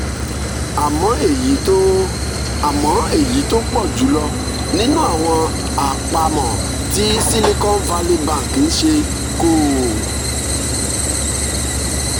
àmọ́ èyí tó àmọ́ èyí tó pọ̀ jù lọ nínú àwọn àpamọ́ tí silicon valley bank ń ṣe kò